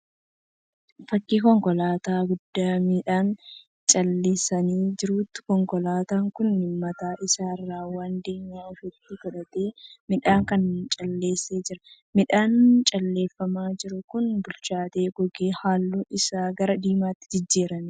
Fakkii konkolaataa guddaa midhaan calleessaa jiruuti. Konkolaataan kun mataa isaa irraan waan diimaa ofitti godhatee miidhaan kana calleessaa jira. Midhaanni calleeffamaa jiru kun bilchaatee gogee halluun isaa gara diimaatti jijjarameera.